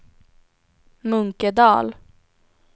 Munkedal